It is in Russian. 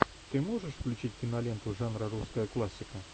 ты можешь включить киноленту жанра русская классика